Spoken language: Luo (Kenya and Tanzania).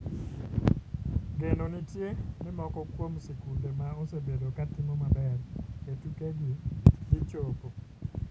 Geno nitie ni moko kuom sikunde ma osebedo ka timo maber e tuke gi dhi chopo .